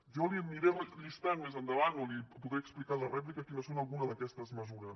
jo li aniré llistant més endavant o li podré explicar en la rèplica quines són algunes d’aquestes mesures